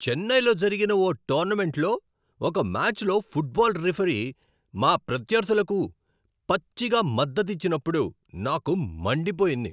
చెన్నైలో జరిగిన ఓ టోర్నమెంట్లో ఒక మాచ్లో ఫుట్బాల్ రిఫరీ మా ప్రత్యర్థులకు పచ్చిగా మద్దతిచ్చినప్పుడు నాకు మండిపోయింది.